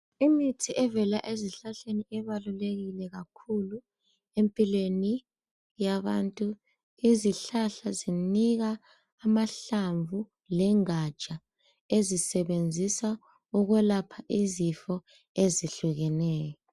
Imithi evela ezihlahleni ibalukekile kakhulu empilweni yabantu. Izihlahla zinika amahlamvu lengatsha ezisebenzisa ukwelapha izifo ezihlukeneyo.